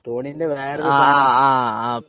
തോണീന്റെ വേറൊരു സാധനം